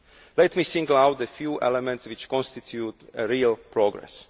Let me single out a few elements which constitute real progress.